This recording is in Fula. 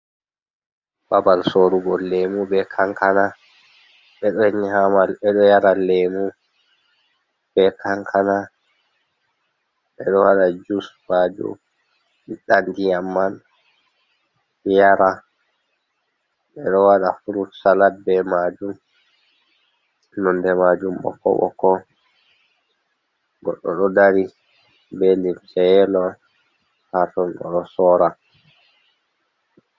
Babal sorugo lemu be kankana, beɗo yara lemu be kankana beɗo waɗa jus majum ɓiɗɗa ndiyam man yara ɓeɗo waɗa frut salat be majum nonde majum ɓokko ɓokko goɗɗo ɗo dari be limce yelo haaton oɗo sora.